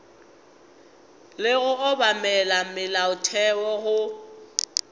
le go obamela molaotheo go